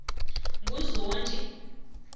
nguzondi